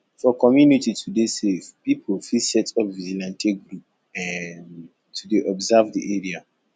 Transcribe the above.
for community to dey safe pipo fit set up vigilante group um to dey observe di area